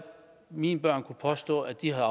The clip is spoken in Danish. mine børn kunne påstå at de har